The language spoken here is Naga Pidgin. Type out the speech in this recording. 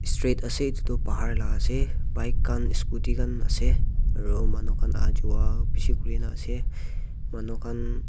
street ase etu tu bahar ka la ase bike kan scooty kan ase aro manu kan ah jua bishi kurina ase manu kan.